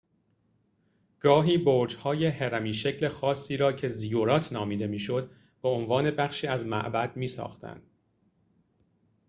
گاهی برج‌های هرمی‌شکل خاصی را که زیگورات نامیده می‌شد به‌عنوان بخشی از معبد می‌ساختند